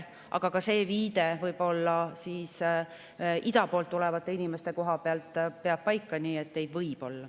Aga see viide ida poolt tulevate inimeste koha pealt peab võib-olla paika, nii et neid võib olla.